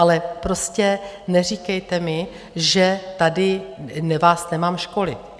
Ale prostě neříkejte mi, že tady vás nemám školit.